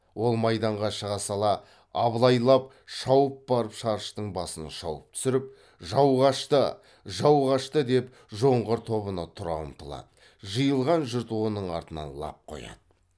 ол майданға шыға сала абылай лап шауып барып шарыштың басын шауып түсіріп жау қашты жау қашты деп жоңғар тобына тұра ұмтылады жиылған жұрт оның артынан лап қояды